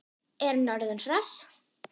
Er hann orðinn hress?